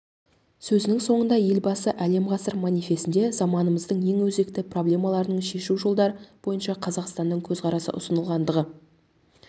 сөзінің соңында елбасы әлем ғасыр манифестінде заманымыздың ең өзекті проблемаларының шешу жолдары бойынша қазақстанның көзқарасы ұсынылғандығы